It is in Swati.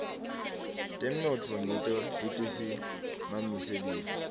temnotfo ngito letisimamise live